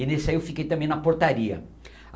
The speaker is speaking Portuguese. E nesse aí eu fiquei também na portaria.